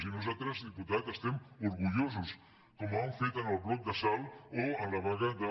i nosaltres diputat n’estem orgullosos com han fet en el bloc de salt o en la vaga d’a